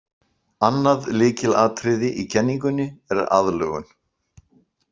Annað lykilatriði í kenningunni er aðlögun.